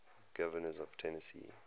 governors of tennessee